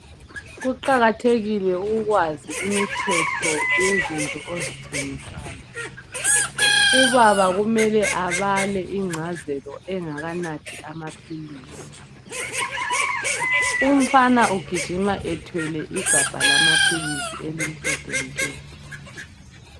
Kuqakathekile ukwazi imithetho yezinto ozithengisayo, ubaba kumele abale ingcazelo engakanathi amaphilisi. Umfana ugijima ethwele igabha lamaphilisi elimhlophe nke.